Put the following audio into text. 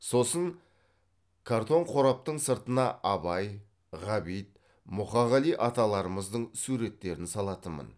сосын картон қораптың сыртына абай ғабит мұқағали аталарымыздың суреттерін салатынмын